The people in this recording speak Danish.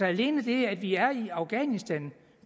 alene det at vi er i afghanistan